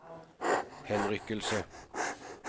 henrykkelse